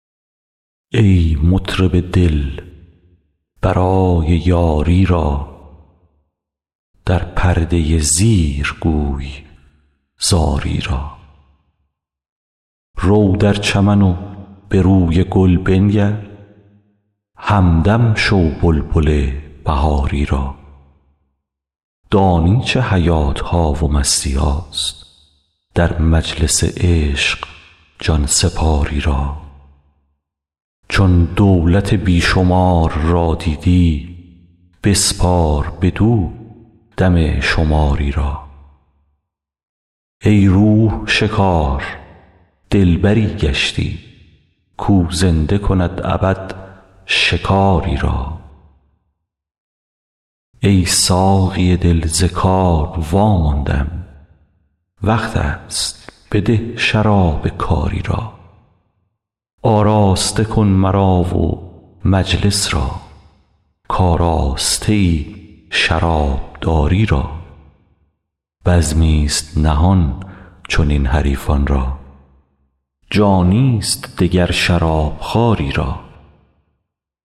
ای مطرب دل برای یاری را در پرده زیر گوی زاری را رو در چمن و به روی گل بنگر همدم شو بلبل بهاری را دانی چه حیات ها و مستی هاست در مجلس عشق جان سپاری را چون دولت بی شمار را دیدی بسپار بدو دم شماری را ای روح شکار دلبری گشتی کاو زنده کند ابد شکاری را ای ساقی دل ز کار واماندم وقت است بده شراب کاری را آراسته کن مرا و مجلس را کآراسته ای شرابداری را بزمی ست نهان چنین حریفان را جانی ست دگر شراب خواری را